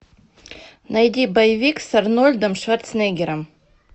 найди боевик с арнольдом шварценеггером